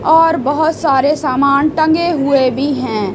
और बहोत सारे सामान टंगे हुए भी हैं।